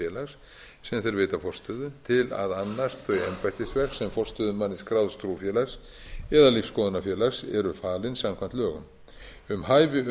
félags sem þeir veita forstöðu til að annast þau embættisverk sem forstöðumanni skráðs trúfélags eða lífsskoðunarfélags eru falin samkvæmt lögum um hæfi